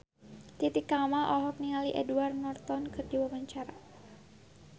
Titi Kamal olohok ningali Edward Norton keur diwawancara